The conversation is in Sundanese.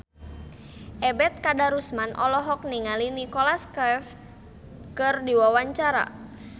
Ebet Kadarusman olohok ningali Nicholas Cafe keur diwawancara